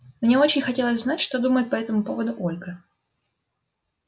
мне очень хотелось знать что думает по этому поводу ольга